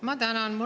Ma tänan!